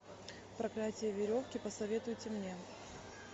проклятье веревки посоветуйте мне